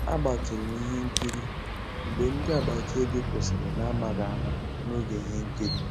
Àgbátụ̀rụ̀ m ihe nkírí mgbé ndị́ àgbàtà òbí kwụ́sị́rí n'àmàghị́ àmá n'ògé íhé nkírí.